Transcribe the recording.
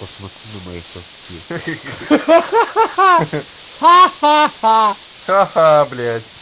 посмотри на мои соски ха-ха блядь